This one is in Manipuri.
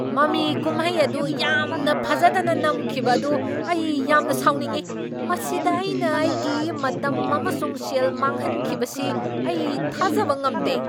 ꯃꯃꯤ ꯀꯨꯝꯍꯩ ꯑꯗꯨ ꯌꯥꯝꯅ ꯐꯖꯗꯅ ꯅꯝꯈꯤꯕ ꯑꯗꯨ ꯑꯩ ꯌꯥꯝꯅ ꯁꯥꯎꯅꯤꯡꯢ꯫ ꯃꯁꯤꯗ ꯑꯩꯅ ꯑꯩꯒꯤ ꯃꯇꯝ ꯑꯃꯁꯨꯡ ꯁꯦꯜ ꯃꯥꯡꯍꯟꯈꯤꯕꯁꯤ ꯑꯩ ꯊꯥꯖꯕ ꯉꯝꯗꯦ꯫